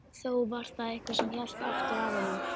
Þó var það eitthvað sem hélt aftur af honum.